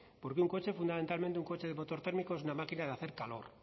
porque un coche fundamentalmente un coche de motor térmico es una máquina de hacer calor